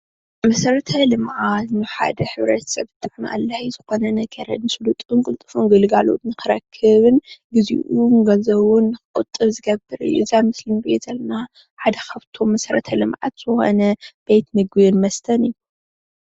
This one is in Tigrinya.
መሰረተ ልምዓት ንሓደ ማሕበረሰብ ኣድላይ ዝኮነ ነገር ስሉጡን ቁልጡፉን ግልጋሎት ንክረክብ ግዚኡን ገንዘቡንክቁጡቡን ሓደ ካብቲ መሰረተ ልምዓት ዝኮነ ቤት ምግብን መስተን እዩ።